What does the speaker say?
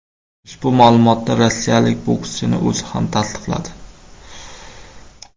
Ushbu ma’lumotni rossiyalik bokschining o‘zi ham tasdiqladi .